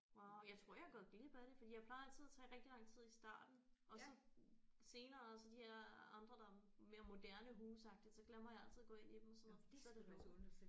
Wow jeg tror jeg er gået glip af det fordi jeg plejer altid at tage rigtig lang tid i starten og så senere så de her andre der er mere moderne huse agtigt så glemmer jeg altid at gå ind i dem og sådan noget fordi så er det lukket